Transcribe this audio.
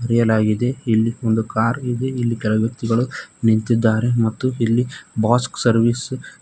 ಕರೆಯಲಾಗಿದೆ ಇಲ್ಲಿ ಒಂದು ಕಾರ್ ಇದೆ ಇಲ್ಲಿ ಕೆಳಗ ವ್ಯಕ್ತಿಗಳು ನಿಂತಿದ್ದಾರೆ ಮತ್ತು ಇಲ್ಲಿ ಬಾಸ್ಕ್ ಸರ್ವಿಸ್ --